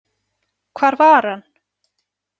Hvar var hann?